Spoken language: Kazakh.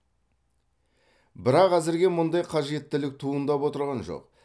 бірақ әзірге мұндай қажеттілік туындап отырған жоқ